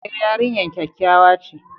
E, yarinyar kyakkyawa ce.